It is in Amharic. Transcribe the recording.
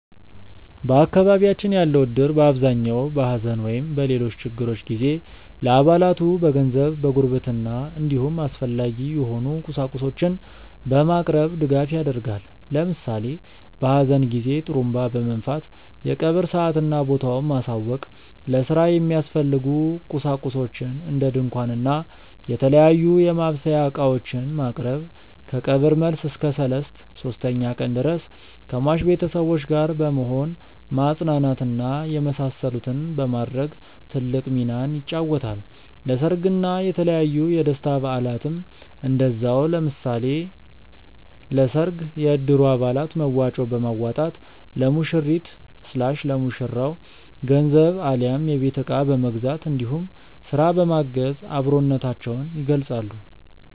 በአካባቢያችን ያለው እድር በአብዛኛው በሐዘን ወይም በሌሎች ችግሮች ጊዜ ለአባላቱ በገንዘብ፣ በጉርብትና እንዲሁም አስፈላጊ የሆኑ ቁሳቁሶችን በማቅረብ ድጋፍ ያደርጋል። ለምሳሌ በሀዘን ጊዜ ጡሩንባ በመንፋት የቀብር ሰአትና ቦታውን ማሳወቅ፣ ለስራ የሚያስፈልጉ ቁሳቁሶችን እንደ ድንኳን እና የተለያዩ የማብሰያ እቃዎችን ማቅረብ፣ ከቀብር መልስ እስከ ሰልስት (ሶስተኛ ቀን) ድረስ ከሟች ቤተሰቦች ጋር በመሆን ማፅናናት እና የመሳሰሉትን በማድረግ ትልቅ ሚናን ይጫወታል። ለሰርግ እና የተለያዩ የደስታ በአላትም እንደዛው። ለምሳሌ ለሰርግ የእድሩ አባላት መዋጮ በማዋጣት ለሙሽሪት/ ለሙሽራው ገንዘብ አሊያም የቤት እቃ በመግዛት እንዲሁም ስራ በማገዝ አብሮነታቸውን ይገልፃሉ።